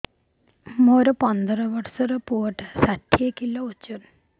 ମୋର ପନ୍ଦର ଵର୍ଷର ପୁଅ ଟା ଷାଠିଏ କିଲୋ ଅଜନ